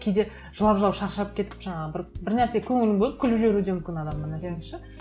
кейде жылап жылап шаршап кетіп жаңағы бір нәрсеге көңілін бөліп күліп жіберу де мүмкін адам бір нәрсеге ше